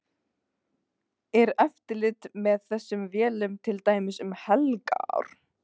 Er eftirlit með þessum vélum til dæmis um helgar?